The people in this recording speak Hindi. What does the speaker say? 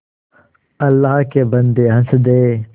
अल्लाह के बन्दे हंस दे